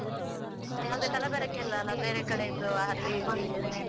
ಯಾವುದೇ ಕಲಬೆರಕೆ ಇಲ್ಲ ಅಲ್ಲ ಬೇರೆ ಕಡೆಯದ್ದು .